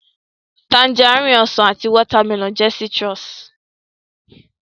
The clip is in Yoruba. Tangerine, Ọsàn àti watermelon jẹ́ citrus